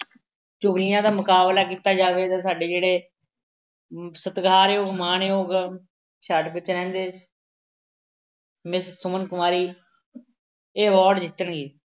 ਚੁਗਲੀਆਂ ਦਾ ਮੁਕਾਬਲਾ ਕੀਤਾ ਜਾਵੇ ਜਾਂ ਸਾਡੇ ਜਿਹੜੇ ਸਤਿਕਾਰ ਯੋਗ, ਮਾਨਯੋਗ, ਛਿਆਹਠ miss ਸੁਮਨ ਕੁਮਾਰੀ ਇਹ award ਜਿੱਤਣਗੇ।